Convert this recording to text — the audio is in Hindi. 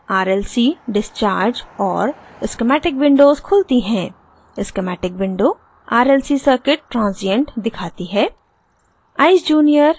eyes junior: rlc discharge और schematic windows खुलती हैं schematic window rlc circuit transient दिखाती है